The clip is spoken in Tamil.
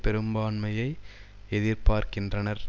பெரும்பான்மையை எதிர்பார்க்கின்றனர்